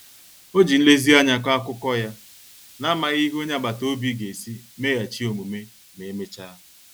Ọ ji nlezianya kọọ akụkọ ya, n'amaghị ihe onye agbata obi ga-esi meghachi omume ma emechaa.